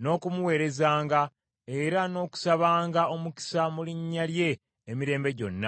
n’okumuweerezanga, era n’okusabanga omukisa mu linnya lye emirembe gyonna.